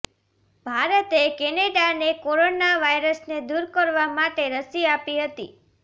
ભારતે કેનેડાને કોરોના વાયરસને દૂર કરવા માટે રસી આપી હતી